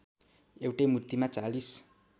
एउटै मूर्तिमा ४०